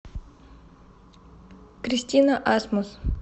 кристина асмус